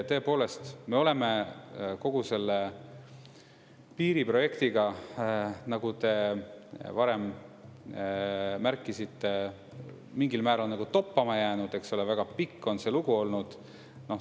Tõepoolest, me oleme kogu selle piiriprojektiga, nagu te varem märkisite, mingil määral toppama jäänud, väga pikk on see lugu olnud.